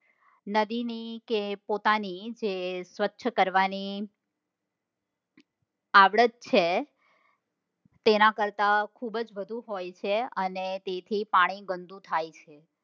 નદી ની જે પોતાની જે સ્વચ્છ કરવા ની આવડત છે તેના કરતા ખુબ જ વધુ હોય છે અને તેથી પાણી ગંદુ થાય છે.